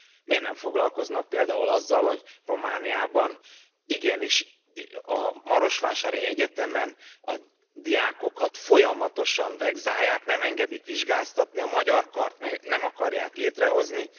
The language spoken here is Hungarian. Miért nem foglalkoznak például azzal, hogy Romániában igenis a marosvásárhelyi egyetemen a diákokat folyamatosan vegzálják, nem engedik vizsgázni, a magyar kart meg nem akarják létrehozni.